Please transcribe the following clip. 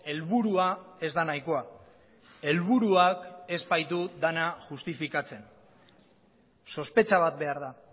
helburua ez da nahikoa helburuak ez baitu dena justifikatzen sospetxa bat behar da